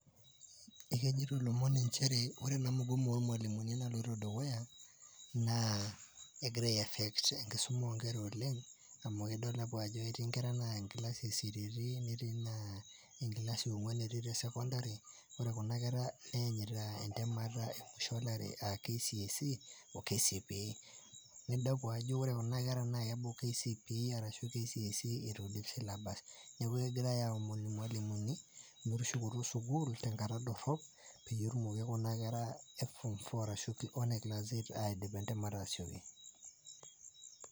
Ekejeto lomon inchere ore ena mugomo oormwalimuni naloto dukuyaa naa egira aiaffect enkisuma iinkera oleng' amu kidol ajo etii inkerra nany engilasi esiriri neti naa engilasi ong'wan etii tesekondari, ore kunda kerra eanyita intamata emusho elari aa KCSE o KCPE nidamu ajo ore kuna kera naa eaku KCPE arashu E KCSE airudisha neaku egirai aomon irmalumuni metushukoto sukuul tenkata dorop peyie etumoki kuna e form four arashu ene class eight aidip entamata asiooki.